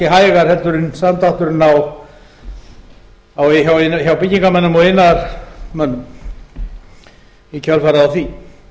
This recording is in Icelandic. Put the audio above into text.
hægar heldur en samdrátturinn hjá byggingarmönnum og iðnaðarmönnum í kjölfarið á því